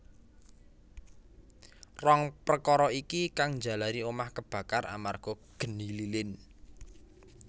Rong prekara iki kang njalari omah kebakar amarga geni lilin